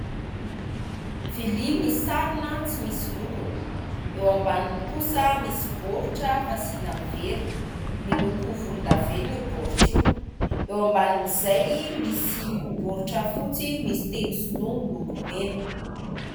Vilia misarona tsy misy lokony. Eo ambaniny kosa misy baoritra fasiana vera, miloko volondavenina io baoritra io. Eo ambanin'izay misy baoritra fotsy misy teny sinoa miloko mena.